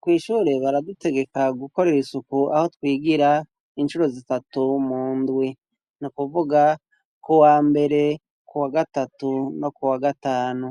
kw' ishure baradutegeka gukorera isuku aho twigira incuro zitatu mu ndwi ni kuvuga kuwa mbere ku wa gatatu no ku wa gatanu